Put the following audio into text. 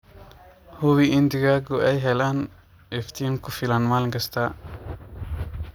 Hubi in digaagu ay helaan iftiin ku filan maalin kasta.